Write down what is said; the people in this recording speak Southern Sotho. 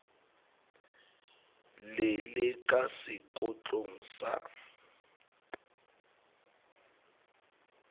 le le ka sekotlong sa